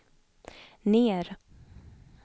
ner